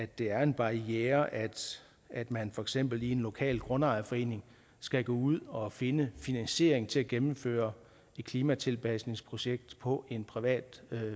det er en barriere at man for eksempel i en lokal grundejerforening skal gå ud og finde finansiering til at gennemføre et klimatilpasningsprojekt på en privat